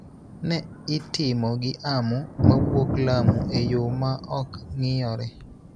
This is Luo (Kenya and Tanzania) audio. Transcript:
ne itimo gi Amu mawuok Lamu e yo ma ok ng�iyore.